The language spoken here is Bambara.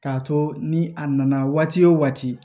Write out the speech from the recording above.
K'a to ni a nana waati